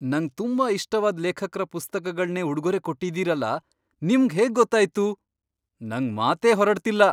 ನಂಗ್ ತುಂಬಾ ಇಷ್ಟವಾದ್ ಲೇಖಕ್ರ ಪುಸ್ತಕಗಳ್ನೇ ಉಡ್ಗೊರೆ ಕೊಟ್ಟಿದೀರಲ, ನಿಮ್ಗ್ ಹೇಗ್ ಗೊತ್ತಾಯ್ತು?! ನಂಗ್ ಮಾತೇ ಹೊರಡ್ತಿಲ್ಲ!